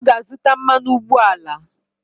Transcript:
Ọ ga-azụta mmanụ ụgbọala.